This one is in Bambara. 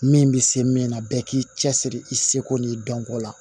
Min bɛ se min na bɛɛ k'i cɛsiri i seko n'i dɔnko la